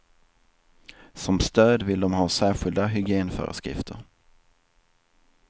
Som stöd vill de ha särskilda hygienföreskrifter.